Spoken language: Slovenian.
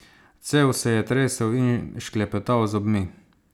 Cel se je tresel in šklepetal z zobmi.